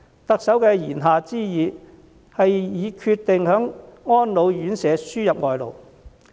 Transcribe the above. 特首的言下之意，是已經決定為安老院舍輸入外勞。